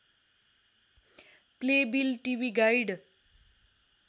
Playbill TV guide